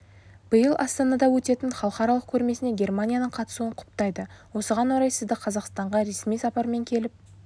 биыл астанада өтетін халықаралық көрмесіне германияның қатысуын құптайды осыған орай сізді қазақстанға ресми сапармен келіп